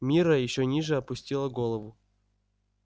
мирра ещё ниже опустила голову